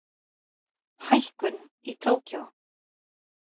Hækkun í Tókýó